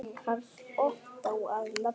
Karl Ottó að nafni.